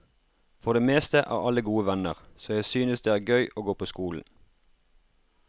For det meste er alle gode venner, så jeg synes det er gøy å gå på skolen.